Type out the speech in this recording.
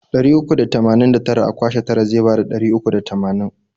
Ɗari uku da tamanin da tara a kwashe tara zai bada ɗari uku da tamanin.